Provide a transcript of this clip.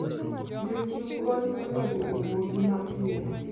Jochiw kony onego owuogi mapiyo.